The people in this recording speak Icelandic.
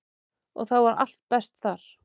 Og þá var allt best þar.